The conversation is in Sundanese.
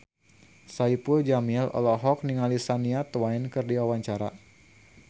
Saipul Jamil olohok ningali Shania Twain keur diwawancara